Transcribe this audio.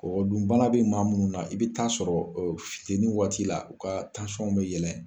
Kɔgɔ dun bana bɛ maa minnu na i bɛ taa sɔrɔ finteni waati la u ka bɛ yɛlɛn.